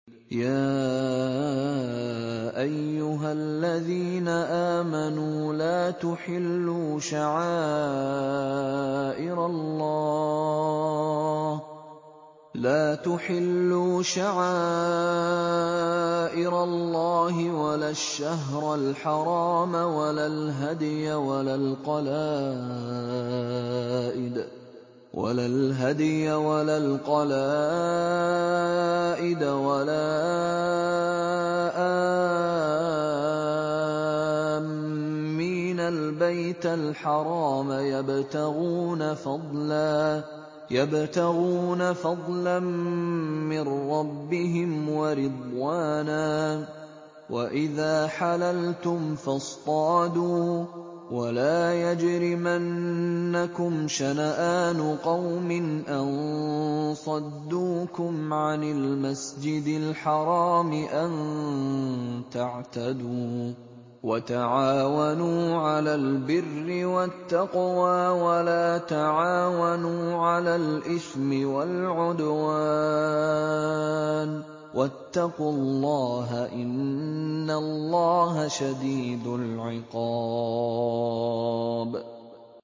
يَا أَيُّهَا الَّذِينَ آمَنُوا لَا تُحِلُّوا شَعَائِرَ اللَّهِ وَلَا الشَّهْرَ الْحَرَامَ وَلَا الْهَدْيَ وَلَا الْقَلَائِدَ وَلَا آمِّينَ الْبَيْتَ الْحَرَامَ يَبْتَغُونَ فَضْلًا مِّن رَّبِّهِمْ وَرِضْوَانًا ۚ وَإِذَا حَلَلْتُمْ فَاصْطَادُوا ۚ وَلَا يَجْرِمَنَّكُمْ شَنَآنُ قَوْمٍ أَن صَدُّوكُمْ عَنِ الْمَسْجِدِ الْحَرَامِ أَن تَعْتَدُوا ۘ وَتَعَاوَنُوا عَلَى الْبِرِّ وَالتَّقْوَىٰ ۖ وَلَا تَعَاوَنُوا عَلَى الْإِثْمِ وَالْعُدْوَانِ ۚ وَاتَّقُوا اللَّهَ ۖ إِنَّ اللَّهَ شَدِيدُ الْعِقَابِ